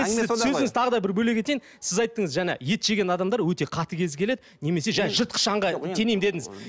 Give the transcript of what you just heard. сөзіңізді тағы бір бөле кетейін сіз айттыңыз жаңа ет жеген адамдар өте қатыгез келеді немесе жаңа жыртқыш аңға теңеймін дедіңіз